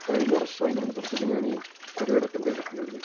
കഴിഞ്ഞ വർഷവും അതിനു മുമ്പത്തെ വർഷവും ഞാൻ ഈ പരുപാടി അറ്റൻഡ് ചെയ്തട്ടുണ്ടായിരുന്നു